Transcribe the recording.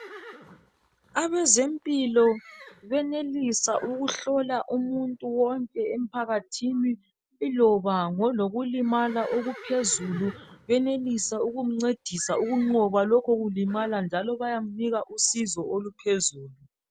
Abezempilo benelisa ukuhlola umuntu wonke emphakathini iloba ngolokulimala okuphezulu benelisa ukumncedisa ukunqoba lokho kulimala njalo bayamnika usizo oluphezulu.